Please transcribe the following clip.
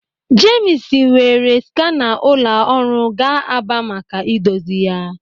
Jemis weere skana ụlọ ọrụ gaa Aba maka idozi ya.